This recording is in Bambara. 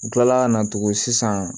N kilala ka na tugun sisan